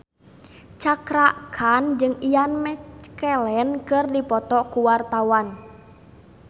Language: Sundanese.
Cakra Khan jeung Ian McKellen keur dipoto ku wartawan